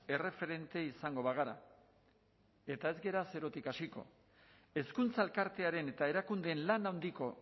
erreferente izango bagara eta ez gara zerotik hasiko hezkuntza elkartearen eta erakundeen lan handiko